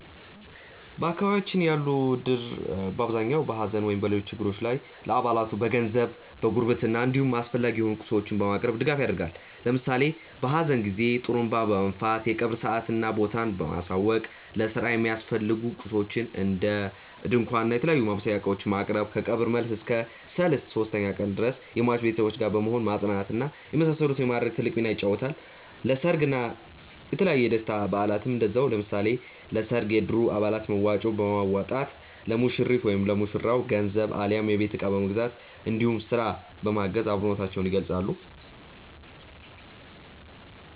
በአካባቢያችን ያለው እድር በአብዛኛው በሐዘን ወይም በሌሎች ችግሮች ጊዜ ለአባላቱ በገንዘብ፣ በጉርብትና እንዲሁም አስፈላጊ የሆኑ ቁሳቁሶችን በማቅረብ ድጋፍ ያደርጋል። ለምሳሌ በሀዘን ጊዜ ጡሩንባ በመንፋት የቀብር ሰአትና ቦታውን ማሳወቅ፣ ለስራ የሚያስፈልጉ ቁሳቁሶችን እንደ ድንኳን እና የተለያዩ የማብሰያ እቃዎችን ማቅረብ፣ ከቀብር መልስ እስከ ሰልስት (ሶስተኛ ቀን) ድረስ ከሟች ቤተሰቦች ጋር በመሆን ማፅናናት እና የመሳሰሉትን በማድረግ ትልቅ ሚናን ይጫወታል። ለሰርግ እና የተለያዩ የደስታ በአላትም እንደዛው። ለምሳሌ ለሰርግ የእድሩ አባላት መዋጮ በማዋጣት ለሙሽሪት/ ለሙሽራው ገንዘብ አሊያም የቤት እቃ በመግዛት እንዲሁም ስራ በማገዝ አብሮነታቸውን ይገልፃሉ።